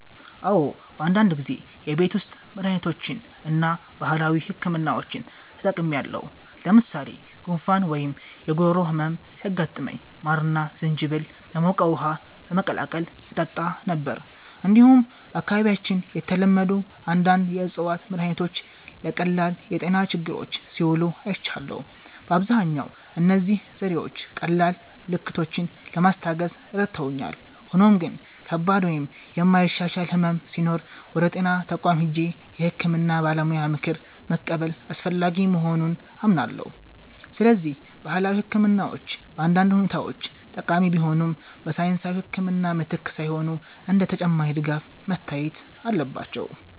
"አዎ፣ በአንዳንድ ጊዜ የቤት ውስጥ መድሃኒቶችን እና ባህላዊ ሕክምናዎችን ተጠቅሜያለሁ። ለምሳሌ ጉንፋን ወይም የጉሮሮ ህመም ሲያጋጥመኝ ማርና ዝንጅብል በሞቀ ውሃ በመቀላቀል እጠጣ ነበር። እንዲሁም በአካባቢያችን የተለመዱ አንዳንድ የእፅዋት መድሃኒቶች ለቀላል የጤና ችግሮች ሲውሉ አይቻለሁ። በአብዛኛው እነዚህ ዘዴዎች ቀላል ምልክቶችን ለማስታገስ ረድተውኛል፣ ሆኖም ግን ከባድ ወይም የማይሻሻል ሕመም ሲኖር ወደ ጤና ተቋም ሄጄ የሕክምና ባለሙያ ምክር መቀበል አስፈላጊ መሆኑን አምናለሁ። ስለዚህ ባህላዊ ሕክምናዎች በአንዳንድ ሁኔታዎች ጠቃሚ ቢሆኑም፣ በሳይንሳዊ ሕክምና ምትክ ሳይሆን እንደ ተጨማሪ ድጋፍ መታየት አለባቸው።"